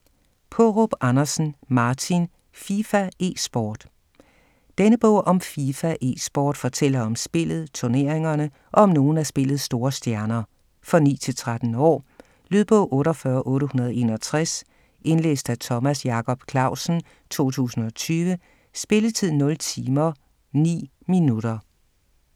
Paarup Andersen, Martin: FIFA eSport Denne bog om FIFA eSport fortæller om spillet, turneringerne og om nogle af spillets store stjerner. For 9-13 år. Lydbog 48861 Indlæst af Thomas Jacob Clausen, 2020. Spilletid: 0 timer, 9 minutter.